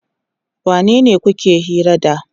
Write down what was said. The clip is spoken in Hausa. Wanene kuke hira da?